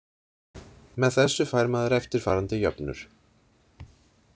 Með þessu fær maður eftirfarandi jöfnur.